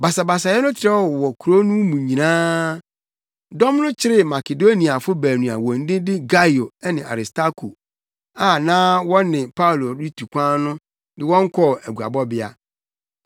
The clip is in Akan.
Basabasayɛ no trɛw wɔ kurow no mu nyinaa. Dɔm no kyeree Makedoniafo baanu a wɔn din de Gaio ne Aristarko a na wɔne Paulo retu kwan no de wɔn kɔɔ aguabɔbea.